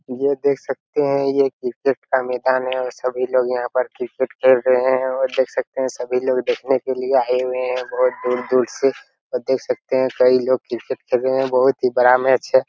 ये देख सकते है ये क्रिकेट का मैदान है और सभी लोग यहाँ पर क्रिकेट खेल रहे है और देख सकते है सभी लोग देखने के लिए आये हुए है बहुत दूर-दूर से और देख सकते है कई लोग क्रिकेट खेल रहे है बहुत ही बड़ा मैच है।